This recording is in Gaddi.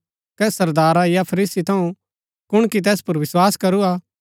कै सरदारा या फरीसी थऊँ कुणकी तैस पुर विस्वास करू हा